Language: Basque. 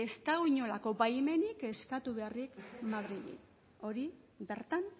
ez dago inolako baimenik eskatu beharrik madrili hori bertan